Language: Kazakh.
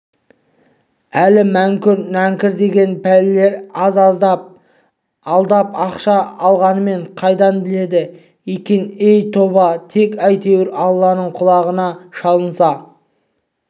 әлгі мүңкір нәңкір деген пәлелер аз-аздап алдап ақша алғанымды қайдан біледі екен-ей тоба тек әйтеуір алланың құлағына шалынса